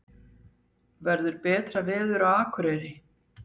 verður betra veður á akureyri